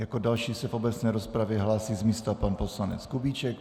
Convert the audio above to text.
Jako další se v obecné rozpravě hlásí z místa pan poslanec Kubíček.